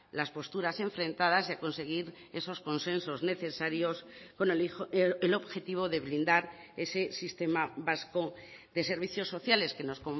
las posturas enfrentadas y a conseguir esos consensos necesarios con el objetivo de blindar ese sistema vasco de servicios sociales que nos